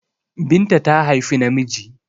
Binta ta haifi namiji